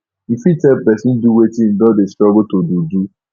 you fit help person do wetin im don dey struggle to do do